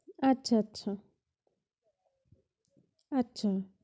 আচ্ছা, আচ্ছা, আচ্ছা। আচ্ছা।